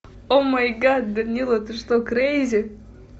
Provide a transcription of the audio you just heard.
о май гад данила ты что крейзи